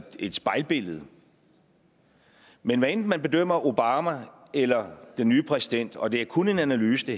et spejlbillede men hvad enten man bedømmer obama eller den nye præsident og det her er kun en analyse